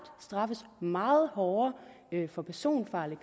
straffes meget hårdere for personfarlig